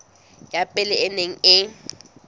ya pele e neng e